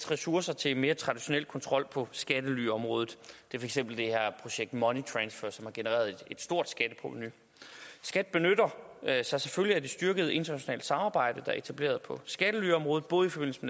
ressourcer til en mere traditionel kontrol på skattelyområdet det er eksempel det her projekt money transfer som har genereret et stort skatteprovenu skat benytter sig selvfølgelig af det styrkede internationale samarbejde der er etableret på skattelyområdet både i forbindelse